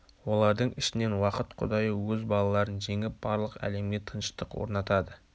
олардың ішінен уақыт құдайы өз балаларын жеңіп барлық әлемге тыныштық орнатады